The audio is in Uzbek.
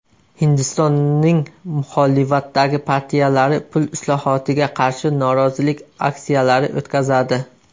Hindistonning muxolifatdagi partiyalari pul islohotiga qarshi norozilik aksiyalari o‘tkazadi .